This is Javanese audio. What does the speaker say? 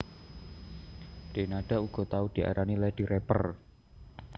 Denada uga tau diarani Lady Rapper